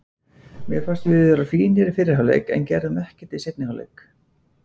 Mér fannst við vera fínir í fyrri hálfleik en við gerðum ekkert í seinni hálfleik.